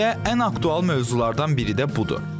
Elə ən aktual mövzulardan biri də budur.